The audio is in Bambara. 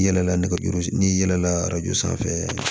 I yɛlɛla nɛgɛjuru n'i yɛlɛnna arajo sanfɛ